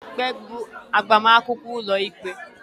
Kedu mgbe bụ agbamakwụkwọ ụlọikpe?